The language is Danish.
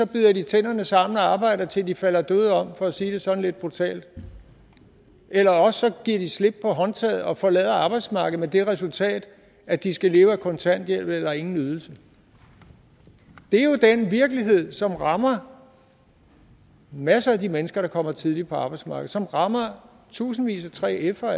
bider de tænderne sammen og arbejder til de falder døde om for at sige det sådan lidt brutalt eller også giver de slip på håndtaget og forlader arbejdsmarkedet med det resultat at de skal leve af kontanthjælp eller ingen ydelse det er jo den virkelighed som rammer masser af de mennesker der kommer tidligere på arbejdsmarkedet og som rammer tusindvis af 3fere